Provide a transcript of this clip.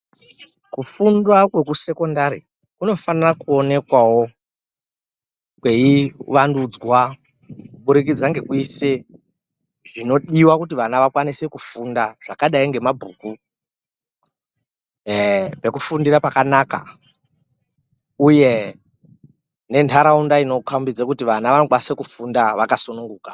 Kufundwa kwekusekondari kunofanira kuonekwavo kwei vandudzwa kubudikidza ngekuise zvinodiva kuti vana vakwanise kufunda. Zvakadai nemabhuku ee pekufundira pakanaka, uye nentaraunda inokobidza kuti vana vanokwanise kufunda vakasununguka.